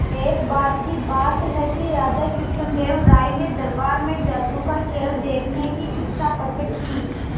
एक बार की बात है कि राजा कृष्णदेव राय ने दरबार में जादू का खेल देखने की इच्छा प्रकट की